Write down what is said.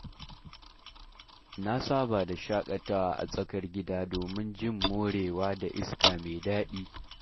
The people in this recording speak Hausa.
Na saba da shaƙatawa a tsakar gida, domin jin morewa da iska mai daɗi.